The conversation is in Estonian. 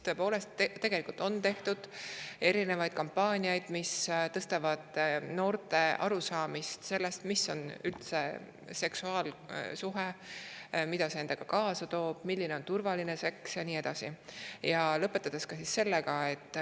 Tõepoolest on tehtud erinevaid kampaaniaid, et noori sellest, mis on üldse seksuaalsuhe, mida see endaga kaasa toob, milline on turvaline seks ja nii edasi.